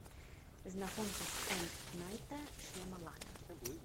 знакомьтесь м найта шьямалана